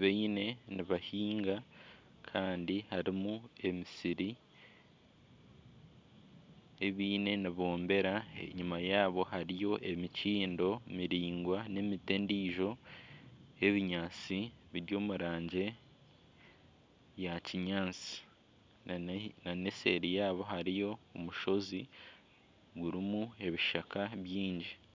baine nibahinga kandi harimu emisiri ei baine nibombera enyima yaabo hariyo emikindo miringwa n'emiti endiijo eri omu rangi ya kinyaatsi nana eseeri yaabo hariyo omushozi gurimu ebishaka byingi